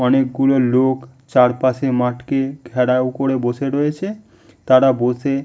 অনেকগুলো লোক চারপাশের মাঠকে ঘেরাও করে বসে রয়েছে। তারা বসে --